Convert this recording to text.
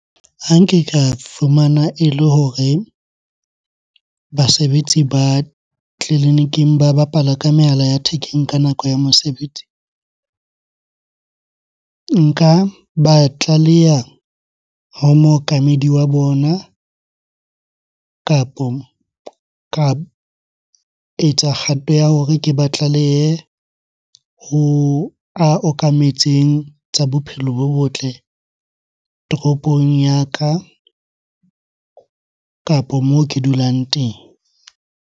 Ha nke ka fumana ele hore basebetsi ba tleliniking ba bapala ka mehala ya thekeng ka nako ya mosebetsi. Nka ba tlaleya ho mookamedi wa bona, kapo ka etsa kgato ya hore ke ba tlalehe ho a okametseng tsa bophelo bo botle toropong ya ka, kapo moo ke dulang teng.